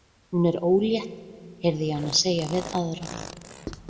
Hún er ólétt, heyri ég hana segja við aðra.